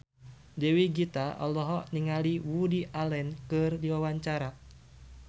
Dewi Gita olohok ningali Woody Allen keur diwawancara